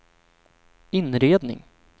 inredning